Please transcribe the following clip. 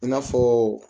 I n'a fɔ